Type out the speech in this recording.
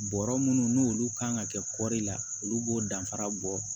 Bɔrɔ minnu n'olu kan ka kɛ kɔri la olu b'o danfara bɔ